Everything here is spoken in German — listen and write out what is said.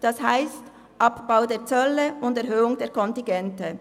Das heisst: Abbau der Zölle und Erhöhung der Kontingente.